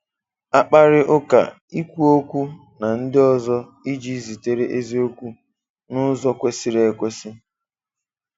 Akpàrị́ ụ́ka – Ik̀wù okwù na ndị ọzọ iji zitere eziokwu n’ụ́zọ kwesịrị ekwèsị́.